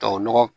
Tubabu nɔgɔ